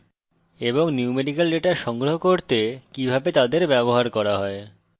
numerical data সংগ্রহ করতে কিভাবে তাদের ব্যবহার করা হয়